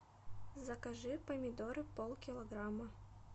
закажи помидоры полкилограмма